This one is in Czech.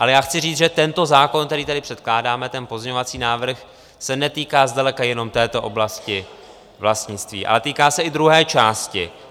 Ale já chci říct, že tento zákon, který tady předkládáme, ten pozměňovací návrh, se netýká zdaleka jenom této oblasti vlastnictví, ale týká se i druhé části.